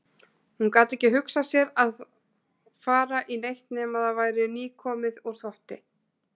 Hún gat ekki hugsað sér að fara í neitt nema það væri nýkomið úr þvotti.